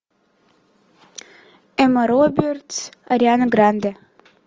эмма робертс ариана гранде